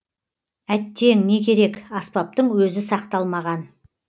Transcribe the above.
әттең не керек аспаптың өзі сақталмаған